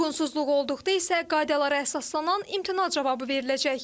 Uyğunsuzluq olduqda isə qaydalara əsaslanan imtina cavabı veriləcək.